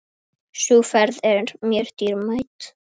Sú ferð er mér dýrmæt.